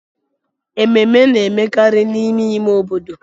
Ememe na-emekarị n'ime ime obodo.